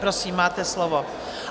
Prosím, máte slovo.